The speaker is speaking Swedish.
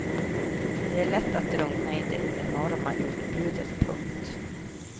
Det är lätt att drunkna i det enorma utbudet. punkt